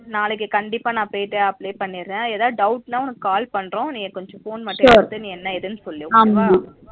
நாளைக்கு கண்டிப்பா நா போயிட்டு apply பண்ணிற எதாவது doubt னாஉனக்கு call பண்றோம் கொஞ்சம் phone மட்டும் எடுத்து என்ன எதுனு சொல்லு okay வா